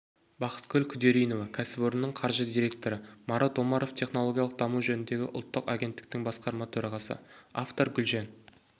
бақытгүл күдеринова кәсіпорынның қаржы директоры марат омаров технологиялық даму жөніндегі ұлттық агенттіктің басқарма төрағасы автор гүлжан